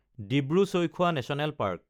Dibru Saikhowa national park